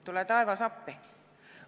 Tule taevas appi!